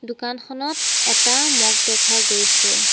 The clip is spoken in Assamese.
দোকানখনত এটা ম'গ দেখা গৈছে।